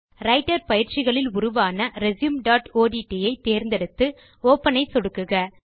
writer பயிற்சிகளில் உருவான resumeஒட்ட் ஐ தேர்ந்தெடுத்து ஒப்பன் பட்டன் ஐ சொடுக்குக